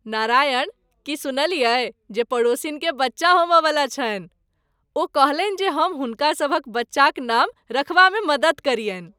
नारायण, की सुनलियै जे पड़ोसिन केँ बच्चा होमय वला छनि? ओ कहलनि जे हम हुनकासभक बच्चाक नाम रखबामे मदति करियनि ।